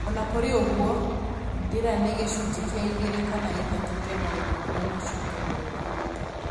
Onakũrĩ oũgũo, ndĩra nĩ gĩcunjĩ kĩa igĩrĩ kana ithatũ kĩa maũndũ marĩa macũngagĩrĩria